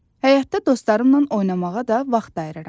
Həyətdə dostlarımla oynamağa da vaxt ayırıram.